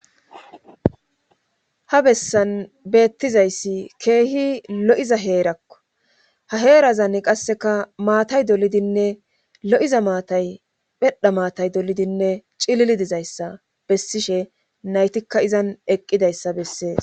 ha bessan beettizayssi keehi lo7iza heerakko ha heerazanni qasseka maatay dolidinne lo7iza maatay phedha maatay dolidinne cilili dizayssa bessishe naytikka izan eqqidayssa bessees